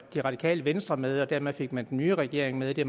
det radikale venstre med og dermed fik man den nye regering med det